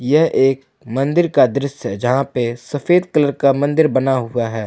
यह एक मंदिर का दृश्य है जहा पे सफेद कलर का मंदिर बना हुआ है।